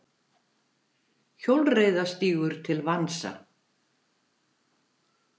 Hjólreiðastígur til vansa